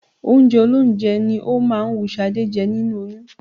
Oúnjẹ olóúnjẹ ni ó máa ń wú Ṣadé jẹ nínú oyún